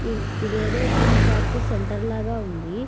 ఇదేదో gym practice centre లాగా ఉంది.